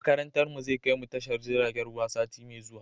Makarantar mu zai kai mu tashar jiragen ruwa sati mai zuwa